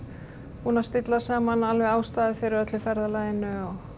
búnir að stilla saman ástæðu fyrir öllu ferðalaginu